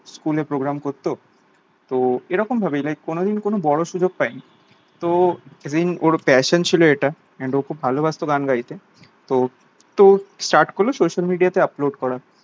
school এ program করতো তো এরকম ভাবেই like কোনোদিন কোনো বড়ো ভাবে সুযোগ পাইনি তো ওর passion ছিল ওটা and ও খুব ভালোবাসতো গান গাইতে তো start করলো social media তে upload করা